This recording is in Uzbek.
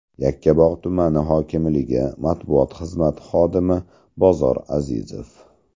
Yakkabog‘ tumani hokimligi matbuot xizmati xodimi Bozor Azizov.